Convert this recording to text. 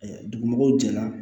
Dugu mɔgɔw jɛra